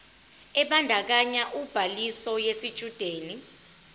ebandakanya ubhaliso yesitshudeni